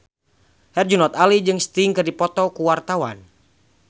Herjunot Ali jeung Sting keur dipoto ku wartawan